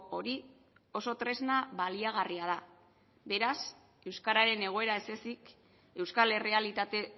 hori oso tresna baliagarria da beraz euskararen egoera ez ezik euskal errealitate